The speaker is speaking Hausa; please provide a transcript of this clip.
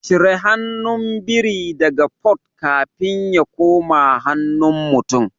Cire hannun biri daga Port kafin ya koma hannun mutum